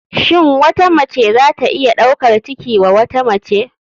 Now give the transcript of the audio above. Shin wata mace zata iya ɗaukar ciki wa wata mace.